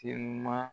Telima